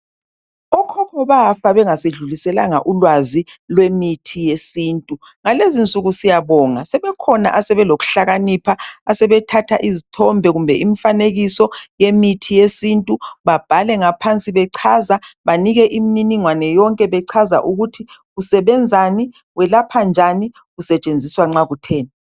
Okhokho bafa bengasidluliselanga ulwazi lwemithi ngalezinsuku siyabonga sebekhona asebelokuhlakanipha asebethatha izithombe kumbe imifanekiso yemithi yesintu babhale ngaphansi bechaza banike imniningwane yonke bechaza kusebenzani, kulaphani, kusetshenziswa nxa kutheni.